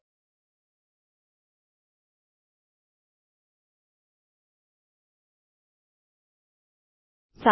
UM